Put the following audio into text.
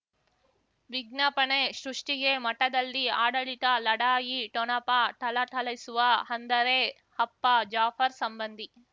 ವಿಜ್ಞಾಪನೆ ಸೃಷ್ಟಿಗೆ ಮಠದಲ್ಲಿ ಆಡಳಿತ ಲಢಾಯಿ ಠೊಣಪ ಠಳಠಳಿಸುವ ಅಂದರೆ ಅಪ್ಪ ಜಾಫರ್ ಸಂಬಂಧಿ